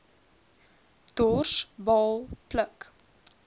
dors baal pluk